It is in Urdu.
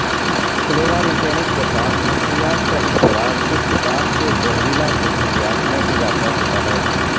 کلورامفینک کے ساتھ منشیات کا اشتراک اختتام کے زہریلا خصوصیات میں اضافہ ہوتا ہے